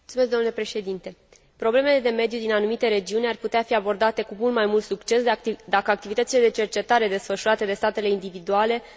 Problemele de mediu din anumite regiuni ar putea fi abordate cu mult mai mult succes, dacă activitățile de cercetare desfășurate de statele individuale ar fi puse în comun.